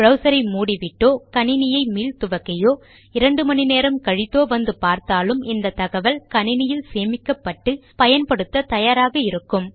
browser ஐ மூடிவிட்டோ கணினியை மீள்துவக்கியோ இரண்டு மணி நேரம் கழித்தோ வந்து பார்த்தாலும் இந்த தகவல் கணினியில் சேமிக்கப்பட்டு பயன்படுத்த தயாராக இருக்கும்